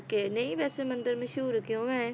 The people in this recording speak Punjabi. ਕਿ ਨਈ ਵੈਸੇ ਮੰਦਿਰ ਮਸ਼ਹੂਰ ਕਿਉਂ ਏ?